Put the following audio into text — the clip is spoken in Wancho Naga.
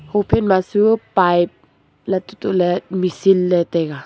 ho phai ma su pipe lat te tohle machine le taiga.